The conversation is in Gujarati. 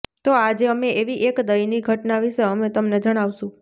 તો આજે અમે એવી એક દયનીય ઘટના વિશે અમે તમને જણાવશું